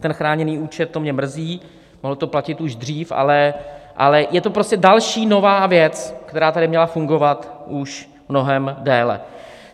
Ten chráněný účet, to mě mrzí, mohlo to platit už dřív, ale je to prostě další nová věc, která tady měla fungovat už mnohem déle.